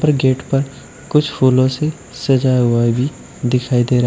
और गेट पर कुछ फूलों से सजाया हुआ भी दिखाई दे रहा है।